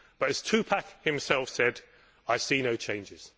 But, as 2Pac himself said, I see no changes.